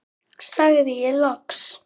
sagði ég loks.